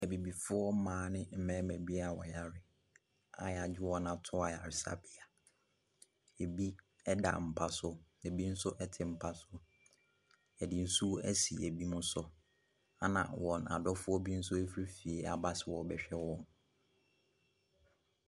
Abibifoɔ mmaa ne mmarima bi a wɔyare a wɔagye wɔn ato ayaresabea. Ɛbi da mpa so, na ɛbi nso te mpa so. Wɔde nsuo asi binom so, ɛna wɔn adɔfoɔ bi nso afiri fie aba sɛ wɔrebɛhwɛ wɔ.